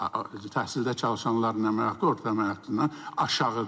Təhsildə çalışanların əmək haqqı orta əmək haqqından aşağıdır.